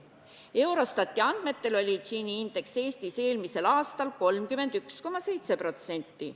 Eurostati andmetel oli Gini indeks Eestis eelmisel aastal 31,7%.